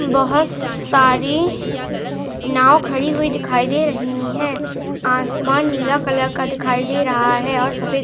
बहुत सारी नाव खड़ी हुई दिखाई दे रही हैं आसमान नीला कलर का दिखाई दे रहा है और सफेद --